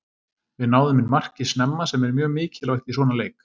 Við náðum inn marki snemma sem er mjög mikilvægt í svona leik.